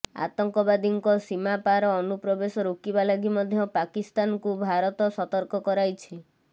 ଆତଙ୍କବାଦୀଙ୍କ ସୀମାପାର ଅନୁପ୍ରବେଶ ରୋକିବା ଲାଗି ମଧ୍ୟ ପାକିସ୍ତାନକୁ ଭାରତ ସତର୍କ କରାଇଛି